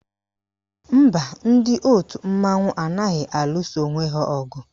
Mba, ndị òtù mmanwụ anaghị alụsa onwe ha ọgụ